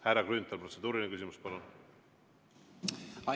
Härra Grünthal, protseduuriline küsimus, palun!